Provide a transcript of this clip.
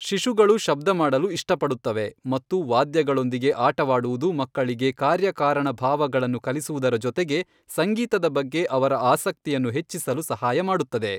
ಶಿಶುಗಳು ಶಬ್ದ ಮಾಡಲು ಇಷ್ಟಪಡುತ್ತವೆ ಮತ್ತು ವಾದ್ಯಗಳೊಂದಿಗೆ ಆಟವಾಡುವುದು ಮಕ್ಕಳಿಗೆ ಕಾರ್ಯಕಾರಣ ಭಾವಗಳನ್ನು ಕಲಿಸುವುದರ ಜೊತೆಗೆ ಸಂಗೀತದ ಬಗ್ಗೆ ಅವರ ಆಸಕ್ತಿಯನ್ನು ಹೆಚ್ಚಿಸಲು ಸಹಾಯ ಮಾಡುತ್ತದೆ.